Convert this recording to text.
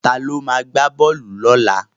Ta ló ma gbá bọ́ọ̀lù lọ́la?